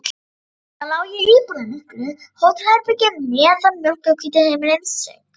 Þarna lá ég í íburðarmiklu hótelherbergi meðan mjólkurhvítur himinninn söng.